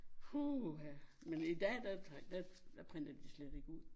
Puha men i dag der der der printer de slet ikke ud